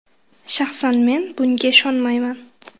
Shaxsan men bunga ishonmayman.